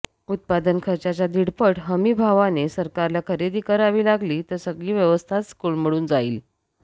उत्पादनखर्चाच्या दीडपट हमीभावाने सरकारला खरेदी करावी लागली तर सगळी व्यवस्थाच कोलमडून जाईल